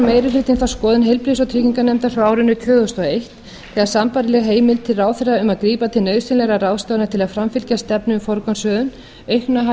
meiri hlutinn þá skoðun heilbrigðis og trygginganefndar frá árinu tvö þúsund og eitt þegar sambærileg heimild til ráðherra um að grípa til nauðsynlegra ráðstafana til að framfylgja stefnu um forgangsröðun aukna